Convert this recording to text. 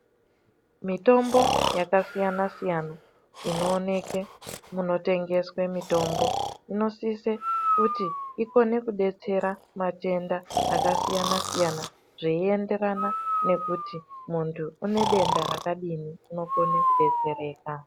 Mitombo yakasiyana siyana inooneke munotengeswe mitombo inosise kuti ikone kudetsera matenda akasiyana siyana zveienderana ngekuti muntu une denda rakadini.